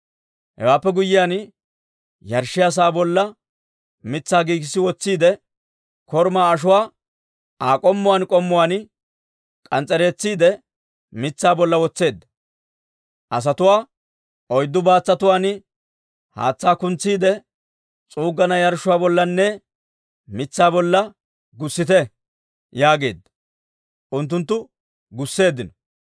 Hewaappe guyyiyaan yarshshiyaa sa'aa bolla mitsaa giigissi wotsiide, korumaa ashuwaa Aa k'ommuwaan k'ommuwaan k'ans's'eretsiide, mitsaa bolla wotseedda. Asatuwaa, «Oyddu baatsatuwaan haatsaa kuntsiidde, s'uuggana yarshshuwaa bollanne mitsaa bolla gussite» yaageedda; unttunttu gusseeddino.